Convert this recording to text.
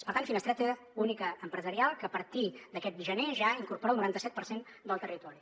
per tant finestreta única empresarial que a partir d’aquest gener ja incorpora el noranta set per cent del territori